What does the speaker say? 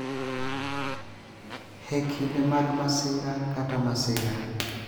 E kinde mag masira kata masira,